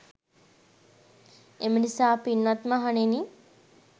එම නිසා පින්වත් මහණෙනි